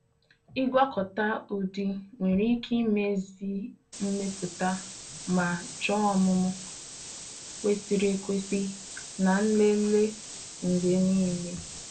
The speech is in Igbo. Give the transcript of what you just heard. Ịgwakọta ụdị nwere ike imezi mmepụta ma chọọ ọmụmụ kwesịrị ekwesị na nlele mgbe niile